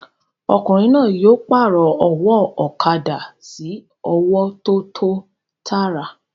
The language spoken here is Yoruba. Ọkùnrin náà yóò pàrọ̀ ọwọ́ ọ̀kadà sí ọwọ́ tó tọ́ tàrà